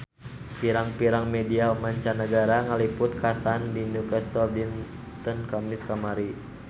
Pirang-pirang media mancanagara ngaliput kakhasan di Newcastle dinten Kemis kamari